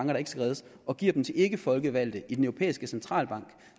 der ikke skal reddes og giver den til ikkefolkevalgte i den europæiske centralbank